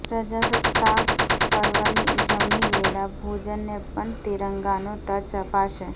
પ્રજાસત્તાક પર્વની ઉજવણી વેળા ભોજનને પણ તિરંગાનો ટચ અપાશે